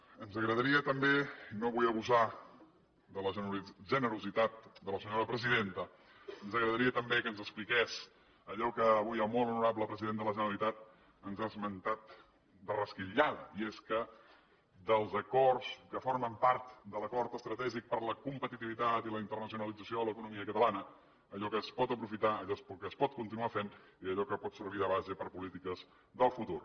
ens agradaria també i no vull abusar de la generositat de la senyora presidenta ens agradaria també que ens expliqués allò que avui el molt honorable president de la generalitat ens ha esmentat de resquitllada i és dels acords que formen part de l’acord estratègic per a la competitivitat i la internacionalització de l’economia catalana allò que es pot aprofitar allò que es pot continuar fent i allò que pot servir de base per a polítiques del futur